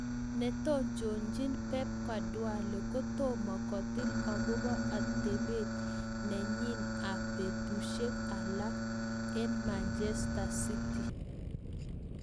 Netononjin Pep Guardiola kotoma kotil akopo atepet nenyin ab betusiek alak eng Manchester City.